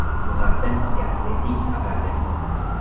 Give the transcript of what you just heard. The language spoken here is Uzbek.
Bu haqda The Athletic xabar bermoqda .